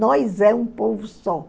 Nós é um povo só.